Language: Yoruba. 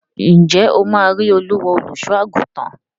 Ǹjẹ́ ó máa rí Olúwa, olùsọ́-àgùntàn?